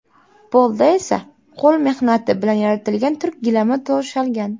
Polda esa qo‘l mehnati bilan yaratilgan turk gilami to‘shalgan.